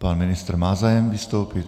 Pan ministr má zájem vystoupit.